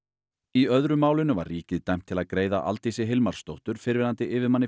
í öðru málinu var ríkið dæmt til að greiða Aldísi Hilmarsdóttur fyrrverandi yfirmanni